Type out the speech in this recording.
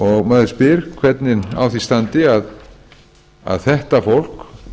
maður spyr sig hvernig á því standi að þetta fólk